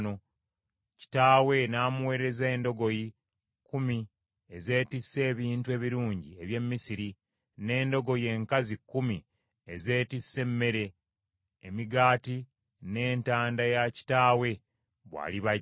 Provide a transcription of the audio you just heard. Kitaawe n’amuweereza endogoyi kkumi ezeetisse ebintu ebirungi eby’e Misiri n’endogoyi enkazi kkumi ezeetisse emmere, emigaati n’entanda ya kitaawe bw’aliba ajja.